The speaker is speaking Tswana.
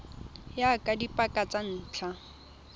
ya ka dipaka tsa ntlha